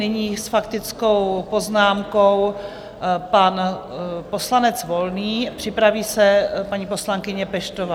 Nyní s faktickou poznámkou pan poslanec Volný, připraví se paní poslankyně Peštová.